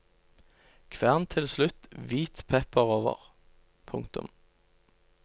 Kvern til slutt hvit pepper over. punktum